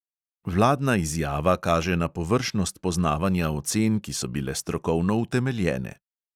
Vladna izjava kaže na površnost poznavanja ocen, ki so bile strokovno utemeljene.